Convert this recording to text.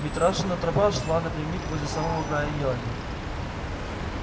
митрашина тропа шла напрямик возле самого края елани